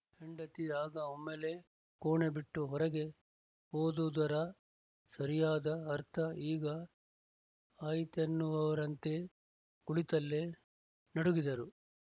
ಹೆಂಡತಿ ಆಗ ಒಮ್ಮೆಲೇ ಕೋಣೆ ಬಿಟ್ಟು ಹೊರಗೆ ಹೋದುದರ ಸರಿಯಾದ ಅರ್ಥ ಈಗ ಆಯಿತೆನ್ನುವವರಂತೆ ಕುಳಿತಲ್ಲೇ ನಡುಗಿದರು